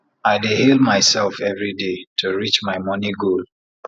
i dey hail mysef everi day to reach my moni goal